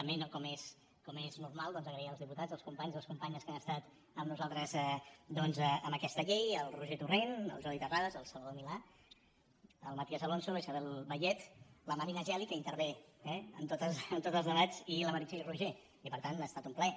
també com és normal doncs donar les gràcies als diputats als companys i les companyes que han estat amb nosaltres en aquesta llei el roger torrent el jordi terrades el salvador milà el matías alonso la isabel vallet la marina geli que intervé eh en tots els debats i la meritxell roigé i per tant ha estat un plaer